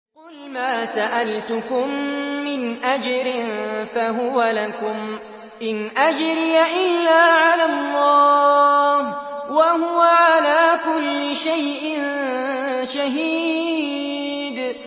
قُلْ مَا سَأَلْتُكُم مِّنْ أَجْرٍ فَهُوَ لَكُمْ ۖ إِنْ أَجْرِيَ إِلَّا عَلَى اللَّهِ ۖ وَهُوَ عَلَىٰ كُلِّ شَيْءٍ شَهِيدٌ